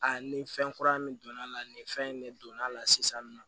A ni fɛn kura min donna la nin fɛn in ne donna a la sisan nin nɔ